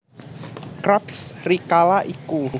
Krabs rikala iku